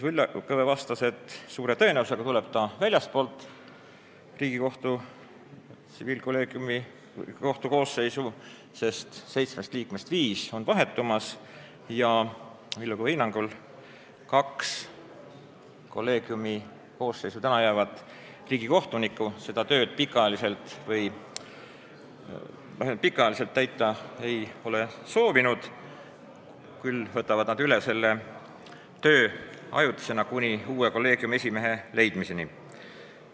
Villu Kõve vastas, et suure tõenäosusega tuleb ta väljastpoolt Riigikohtu koosseisu, sest seitsmest liikmest viis on vahetumas ja Villu Kõve hinnangul kaks kolleegiumi koosseisu alles jäävat riigikohtunikku ei ole seda tööd vähemalt pikaajaliselt täita soovinud, küll aga võtavad nad üle selle töö ajutisena kuni uue kolleegiumi esimehe leidmiseni.